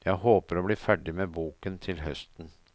Jeg håper å bli ferdig med boken til høsten.